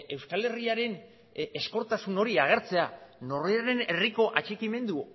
euskal herriaren ezkortasun hori agertzea norberaren herriko atxikimendu